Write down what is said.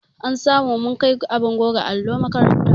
An sa mu mun kai abin goge allo makaranta.